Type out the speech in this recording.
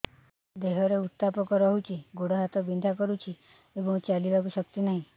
ଦେହରେ ଉତାପ ରହୁଛି ଗୋଡ଼ ହାତ ବିନ୍ଧା କରୁଛି ଏବଂ ଚାଲିବାକୁ ଶକ୍ତି ନାହିଁ